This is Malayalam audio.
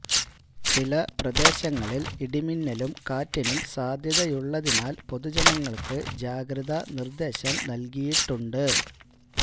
ചില പ്രദേശങ്ങളില് ഇടിമിന്നലും കാറ്റിനും സാധ്യയുള്ളതിനാല് പൊതുജനങ്ങള്ക്ക് ജാഗ്രത നിര്ദേശം നല്കിട്ടുണ്ട്